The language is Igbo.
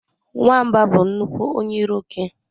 Nwamba bụ nnukwu onye iro oke